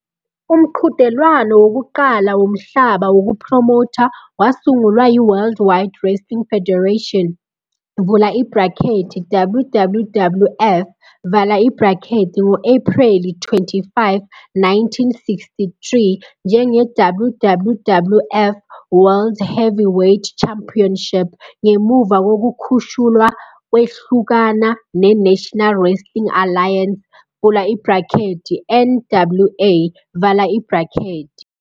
Umqhudelwano wokuqala womhlaba wokuphromotha, wasungulwa yi- World Wide Wrestling Federation, WWWF, ngo-Ephreli 25, 1963, njenge-WWWF World Heavyweight Championship, ngemuva kokukhushulwa kwehlukana ne- National Wrestling Alliance, NWA.